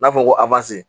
N'a fɔra ko